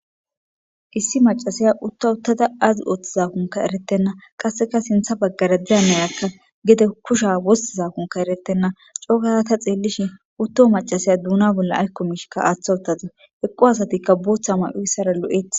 .Issimaccassiya utta uttada aazi oothizaan erettenna qasse sintha baggara diya nayakka gede kusha wozizaakkon erettenna coogaada ta xeellishin utto maccadiyakka duuna bolla aykko aatha uttadus.eqqo asatikka bootha mayozara lo7eetes.